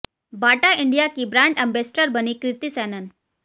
बाटा India की brand ambassador बनी कृति सैनन